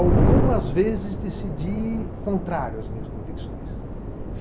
Algumas vezes decidi contrário às minhas convicções.